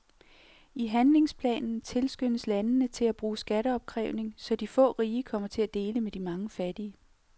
I handlingsplanen tilskyndes landene til at bruge skatteopkrævning, så de få rige kommer til at dele med de mange fattige.